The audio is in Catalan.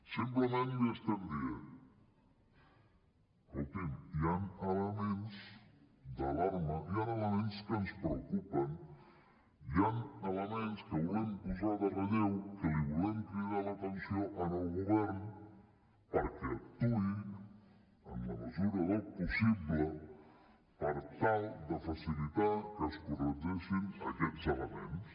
simplement li estem dient escoltin hi han elements d’alarma hi han elements que ens preocupen hi han elements que volem posar de relleu que li volem cridar l’atenció al govern perquè actuï en la mesura del possible per tal de facilitar que es corregeixin aquests elements